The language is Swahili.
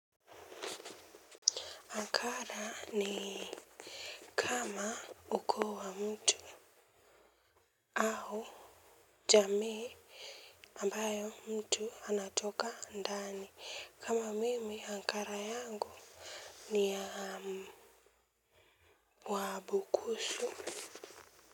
Akara ni kama ukoo wa mtu. Au jamii ambayo mtu anatoka ndani kama mimi akara yangu ni ya wabukusu.